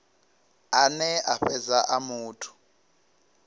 ane a fhedza a muthu